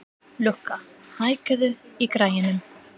Lukka, hækkaðu í græjunum.